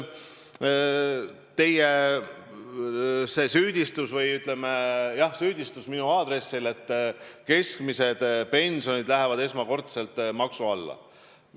Teie süüdistus minu aadressil on, et keskmised pensionid lähevad esmakordselt maksu alla.